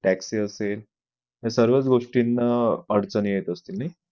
Taxi असेल सर्व गोष्टीना अडचण येत असते नाही.